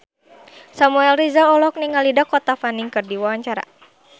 Samuel Rizal olohok ningali Dakota Fanning keur diwawancara